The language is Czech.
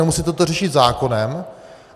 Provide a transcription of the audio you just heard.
Nemusíte to řešit zákonem.